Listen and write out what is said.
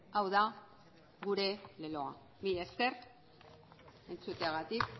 hau da gure leloa mila esker entzuteagatik